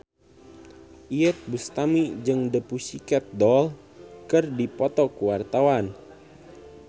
Iyeth Bustami jeung The Pussycat Dolls keur dipoto ku wartawan